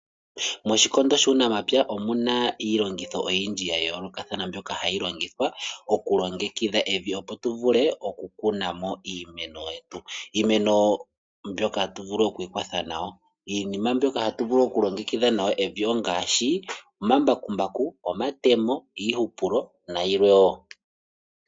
Moshikondo shuunamapya omuna iilongitho oyindji yayolokathana mbyoka hayi longithwa okulongekidha evi opo tuvule okukunamo iimeno yetu mboka hatu vulu okwiikwatha nayo. Iinima mboka hatu vulu okulongekidha nayo evi ongaashi omambakumbaku, omatemo iihupulo nayilwe woo.